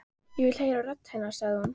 Ég vil heyra rödd hennar, sagði hún.